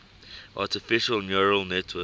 artificial neural networks